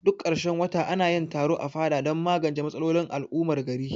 Duk karshen wata anayin taro a fada dan magance matsalolin al'ummar gari